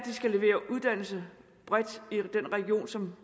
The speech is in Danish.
skal levere uddannelse bredt i den region som